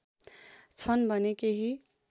छन् भने केही